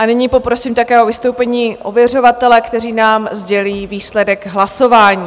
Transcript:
A nyní poprosím také o vystoupení ověřovatele, kteří nám sdělí výsledek hlasování.